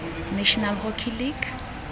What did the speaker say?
national hockey league